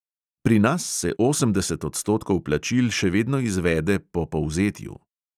Pri nas se osemdeset odstotkov plačil še vedno izvede po povzetju.